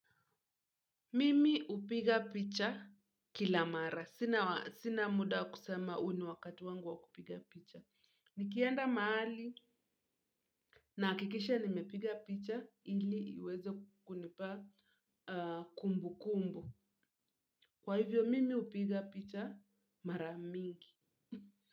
Mimi hupiga picha kila mara. Sina muda wa kusema huu ni wakati wangu wa kupiga picha. Nikienda mahali nahakikisha nimepiga picha ili iweze kunipa kumbukumbu. Kwa hivyo, mimi hupiga picha mara mingi.